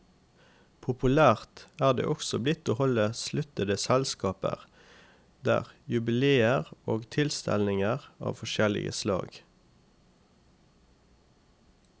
Populært er det også blitt å holde sluttede selskaper der, jubileer og tilstelninger av forskjellige slag.